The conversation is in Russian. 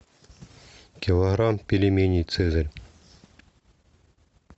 килограмм пельменей цезарь